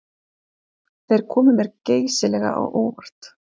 Þeir komu mér geysilega á óvart